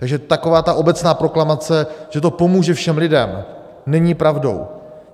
Takže taková ta obecná proklamace, že to pomůže všem lidem, není pravdou.